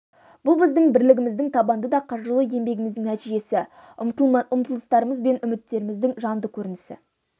бұл біздің бірлігіміздің табанды да қажырлы еңбегіміздің нәтижесі ұмтылыстарымыз бен үміттеріміздің жанды көрінісі